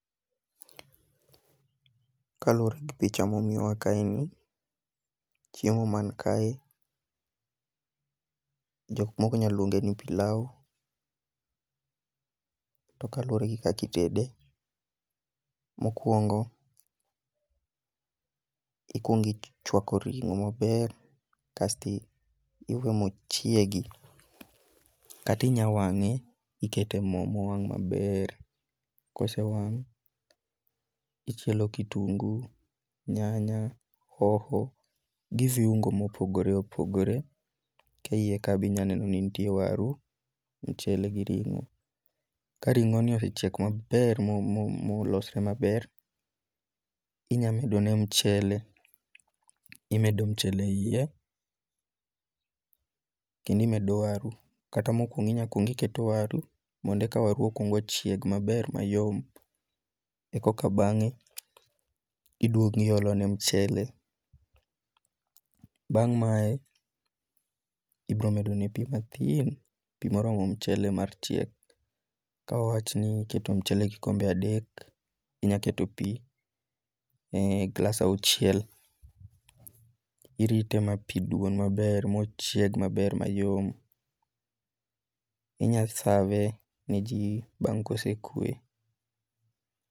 Kaluwore gi picha momiwa kae ni, chiemo man kae, jok moko nyalo luonge ni pilau. To kaluwore gi kakitede, mokwongo ikwongichwako ringo maber kasto iwe mochiegi, kati nya wang'e ikete mo mowang' maber. Kosewang', ichielo kitungu, nyanya, hoho, gi viungo mopogore opogore. Ke iye ka be inya neno ni nitie waru, ichiele gi ring'o. Ka ring'o ni osechiek maber mo mo mo losre maber, inya medone mchele. Imedo mchele e iye, kendi medo waru. Kata mokwongo inya kwongi keto waru, monde ka waru okwongochieg maber mayom. E koka bang'e, iduogiolone mchele. Bang' mae, ibro medone pi mathin, pi moromo mchele mar chiek. Ka wawachni iketo mchele kikombe adek, inya keto pi glas auchiel. Irite ma pi duon maber mochieg maber mayom. Inya save ne ji bang' kosekwe.